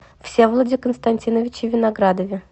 всеволоде константиновиче виноградове